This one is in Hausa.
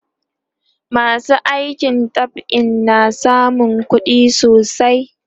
masu aikin dab'i na samun kuɗi sosai